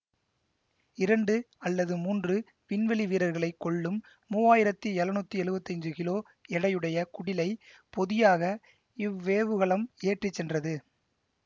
இரண்டு அல்லது மூன்று விண்வெளிவீரர்களை கொள்ளும் மூவாயிரத்தி எழநூத்தி எழுவத்தி அஞ்சு கிலோ எடையுடைய குடிலை பொதியாக இவ்வேவுகலம் ஏற்றிச்சென்றது